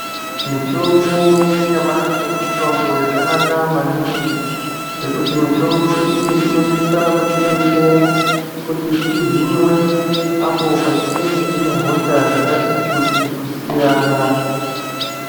Mitombo yenyamashi mitombo yakanaka maningi ngekuti mitombo iyi inosisa kutidetsera kuti tihinwe apo patinenge tine hosha dzakati kuti kusiyana.